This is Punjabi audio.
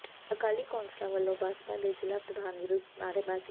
ਅਕਾਲੀ ਕੌਂਂਸਲਰਾਂ ਵੱਲੋਂ ਭਾਜਪਾ ਦੇ ਜਿ਼ਲ੍ਹਾ ਪ੍ਰਧਾਨ ਵਿਰੁੱਧ ਨਾਅਰੇਬਾਜ਼ੀ